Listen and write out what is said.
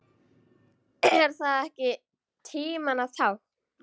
Er það ekki tímanna tákn?